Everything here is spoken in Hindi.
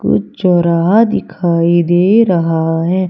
कुछ चौराहा दिखाई दे रहा है।